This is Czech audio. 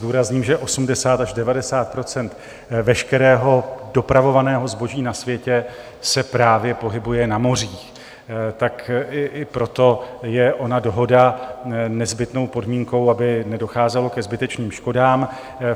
Zdůrazním, že 80 až 90 % veškerého dopravovaného zboží na světě se právě pohybuje na mořích, tak i proto je ona dohoda nezbytnou podmínkou, aby nedocházelo ke zbytečným škodám.